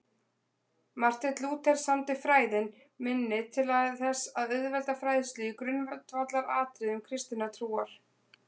Marteinn Lúther samdi Fræðin minni til þess að auðvelda fræðslu í grundvallaratriðum kristinnar trúar.